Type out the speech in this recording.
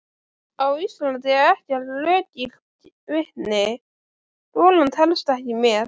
Á Íslandi er ekkert löggilt vitni: golan telst ekki með.